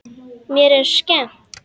Mér er skemmt.